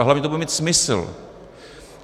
A hlavně to bude mít smysl.